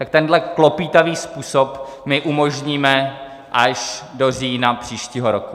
Tak tenhle klopýtavý způsob my umožníme až do října příštího roku.